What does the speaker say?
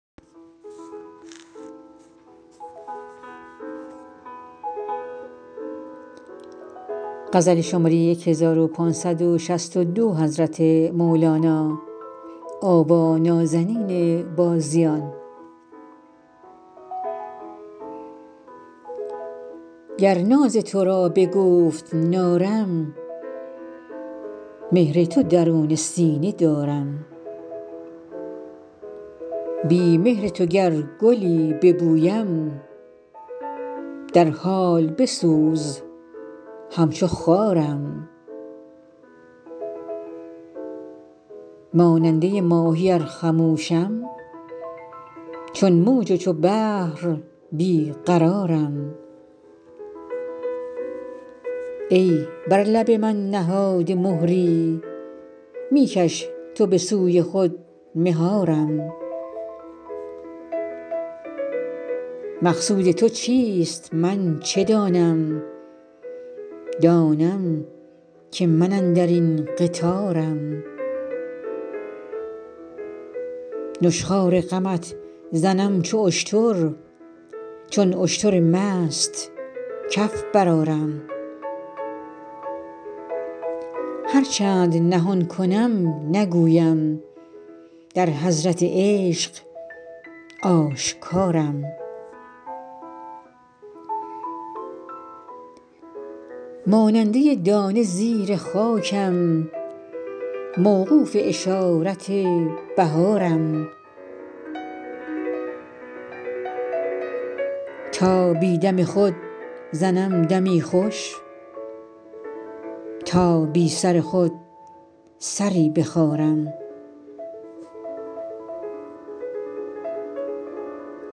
گر ناز تو را به گفت نارم مهر تو درون سینه دارم بی مهر تو گر گلی ببویم در حال بسوز همچو خارم ماننده ماهی ار خموشم چون موج و چو بحر بی قرارم ای بر لب من نهاده مهری می کش تو به سوی خود مهارم مقصود تو چیست من چه دانم دانم که من اندر این قطارم نشخوار غمت زنم چو اشتر چون اشتر مست کف برآرم هر چند نهان کنم نگویم در حضرت عشق آشکارم ماننده دانه زیر خاکم موقوف اشارت بهارم تا بی دم خود زنم دمی خوش تا بی سر خود سری بخارم